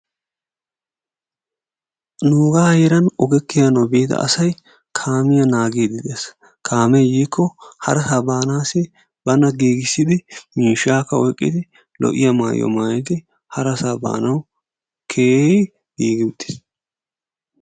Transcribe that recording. Nuuga heeran oge kiyanaw biida asay kaamiyaa naagiidde de'ees. Kaame yiikko harasaa baanaassi bana giigissidi miishshaakka oyqqidi , lo''iya maayuwa maayyidi harassa baanaw keehi giigi uttiis.